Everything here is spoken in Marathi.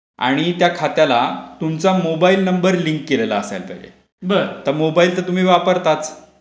आणि त्या खात्याला तुमचा मोबाईल नंबर लिंक केलेला असायला पाहिजे.तर तुम्ही वापरताच.